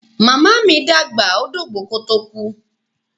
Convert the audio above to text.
Màmá mi dàgbà, ó dògbó kó tó kú.